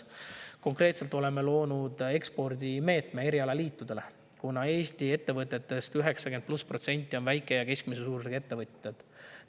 Konkreetselt oleme loonud ekspordimeetme erialaliitudele, kuna Eesti ettevõtetest 90% pluss on väike‑ ja keskmise suurusega ettevõtted.